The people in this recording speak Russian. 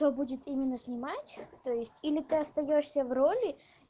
то будет именно снимать то есть или ты остаёшься в роли